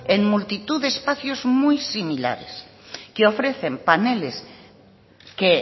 en multitud de espacios muy similares que ofrecen paneles que